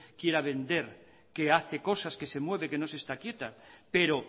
quiera vender que hace cosas que se mueve que no se está quieta pero